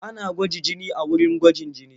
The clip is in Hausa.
Ana gwaji jini a wurin gwajin jini.